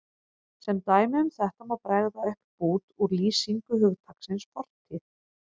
Sem dæmi um þetta má bregða upp bút úr lýsingu hugtaksins fortíð